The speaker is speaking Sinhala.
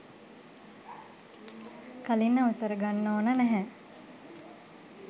කලින් අවසර ගන්න ඕන නැහැ.